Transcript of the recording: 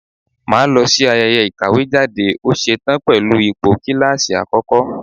Mà á lọ sí ayẹyẹ ìkàwé jáde, ó ṣe tán pẹ̀lú ipò kíláàsì àkọ́kọ́.